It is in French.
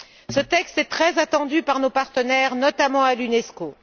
Ce texte est très attendu par nos partenaires, notamment à l'Unesco.